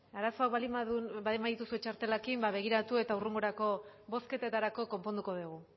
arazoak baldin badituzu txartelekin begiratu eta hurrengorako bozketetarako konponduko dugu